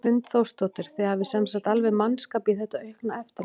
Hrund Þórsdóttir: Þið hafið sem sagt alveg mannskap í þetta aukna eftirlit?